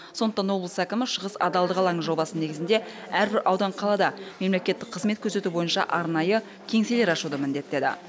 сондықтан облыс әкімі шығыс адалдық алаңы жобасы негізінде әрбір аудан қалада мемлекеттік қызмет көрсету бойынша арнайы кеңселер ашуды міндеттеді